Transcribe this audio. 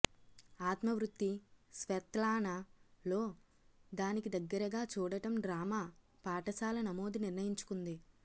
ఆత్మ వృత్తి స్వెత్లానా లో దానికి దగ్గరగా చూడటం డ్రామా పాఠశాల నమోదు నిర్ణయించుకుంది